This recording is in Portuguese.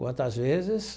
Quantas vezes?